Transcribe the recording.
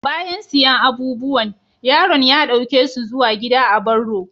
Bayan siyan abubuwan, yaron ya dauke su zuwa gida a'barro.